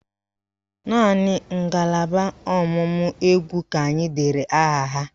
Naanị ngalaba ọ̀mụ̀mụ̀ égwú ka anyị dere aha ha